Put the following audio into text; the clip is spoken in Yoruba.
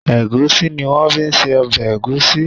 Egusi ní wón fí se obè egusi.